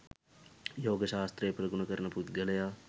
යෝග ශාස්ත්‍රය ප්‍රගුණ කරන පුද්ගලයා